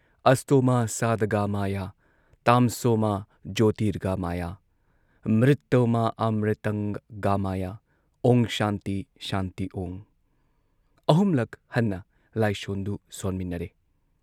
ꯑꯁꯇꯣ ꯃꯥ ꯁꯗꯒꯃꯌ, ꯇꯝꯁꯣ ꯃꯥ ꯖꯣꯔꯇꯤꯒꯃꯌ, ꯃ꯭ꯔꯤꯇꯣ ꯃꯥ ꯑꯃ꯭ꯔꯤꯇꯪ ꯒꯃꯌ, ꯑꯣꯡ ꯁꯥꯟꯇꯤ ꯁꯥꯟꯇꯤ ꯑꯣꯡ ꯑꯍꯨꯝꯂꯛ ꯍꯟꯅ ꯂꯥꯏꯁꯣꯟꯗꯨ ꯁꯣꯟꯃꯤꯟꯅꯔꯦ ꯫